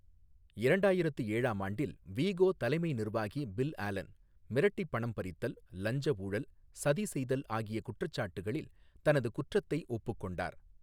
இரண்டாயிரத்து ஏழாம் ஆண்டில், வீகோ தலைமை நிர்வாகி பில் ஆலன் மிரட்டிப் பணம் பறித்தல், லஞ்ச ஊழல், சதி செய்தல் ஆகிய குற்றச்சாட்டுகளில் தனது குற்றத்தை ஒப்புக்கொண்டார்.